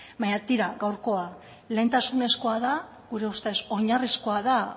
baina tira gaurko lehentasunezkoa da gure ustez oinarrizkoa da